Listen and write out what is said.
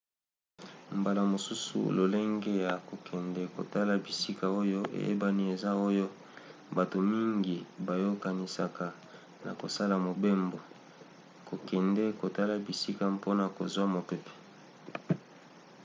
mbala mosusu lolenge ya kokende kotala bisika oyo eyebani eza oyo bato mingi bayokanisaka na kosala mobembo: kokende kotala bisika mpona kozwa mopepe